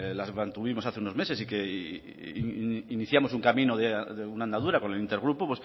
las mantuvimos hace unos meses y que iniciamos un camino de una andadura con el intergrupo